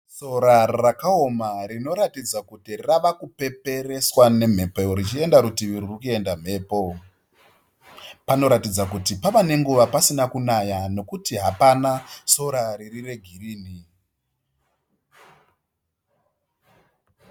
Sora rakaoma rinoratidza kuti ravakupepereswa nemhepo richienda rutivi ruri kuenda mhepo. Panoratidza kuti pava nenguva pasina kunaya nokuti hapana sora riri regirini.